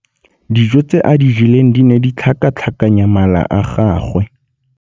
Dijô tse a di jeleng di ne di tlhakatlhakanya mala a gagwe.